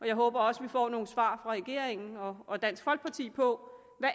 jeg håber også vi får nogle svar fra regeringen og og dansk folkeparti på